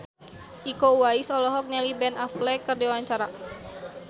Iko Uwais olohok ningali Ben Affleck keur diwawancara